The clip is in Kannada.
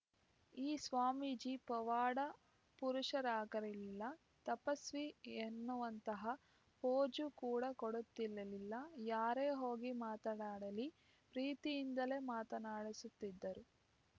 ಈ ಸ್ವಾಮೀಜಿ ಪವಾಡ ಪುರುಷರಾಗಿರಲಿಲ್ಲ ತಪಸ್ವಿ ಎನ್ನುವಂತಹ ಪೋಜು ಕೂಡ ಕೊಡುತ್ತಿರಲಿಲ್ಲ ಯಾರೇ ಹೋಗಿ ಮಾತನಾಡಲಿ ಪ್ರೀತಿಯಿಂದಲೇ ಮಾತನಾಡಿಸುತ್ತಿದ್ದರು